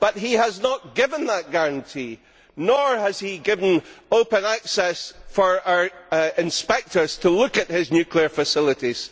But he has not given that guarantee, nor has he given open access for inspectors to look at his nuclear facilities.